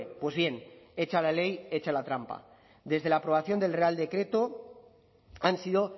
pues bien hecha la ley hecha la trampa desde la aprobación del real decreto han sido